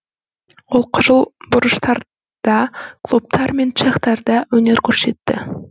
ол қызыл бұрыштарда клубтар мен цехтарда өнер көрсетті